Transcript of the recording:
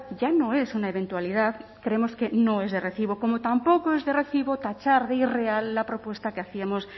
ya no es una eventualidad creemos que no es de recibo como tampoco es de recibo tachar de irreal la propuesta que hacíamos